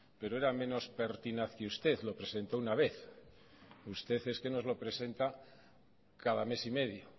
pero era menos pertinaz que usted lo presentó una vez usted es que nos lo presenta cada mes y medio